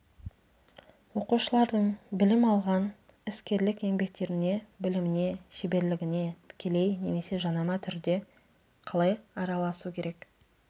оқушылардың білім алған іскерлік еңбектеріне біліміне шеберлігіне тікелей немесе жанама түрде қалай араласу керек